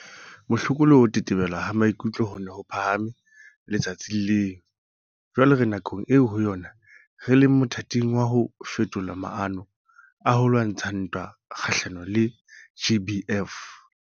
Bohloko le ho tetebela ha maikutlo ho ne ho phahame le-tsatsing leo. Jwale re nakong eo ho yona re leng mothating wa ho fetola maano a ho lwantsha ntwa kga-hlanong le GBVF.